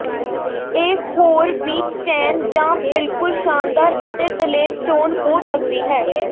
ਇਹ ਹੋਰ ਵੀ ਚੈਨ ਜ ਬਿਲਕੁਲ ਸ਼ਾਨਦਾਰ ਅਤੇ ਦਲੇਰ ਚੋਣ ਹੋ ਸਕਦੀ ਹੈ